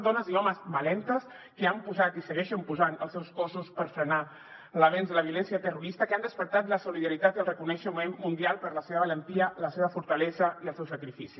dones i homes valentes que han posat i segueixen posant els seus cossos per frenar l’avenç de la violència terrorista que han despertat la solidaritat i el reconeixement mundial per la seva valentia la seva fortalesa i el seu sacrifici